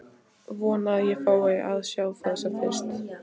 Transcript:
Vona að ég fái að sjá það sem fyrst.